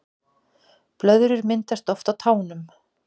Blöðrur myndast oft á tánum